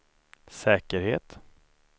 säkerhet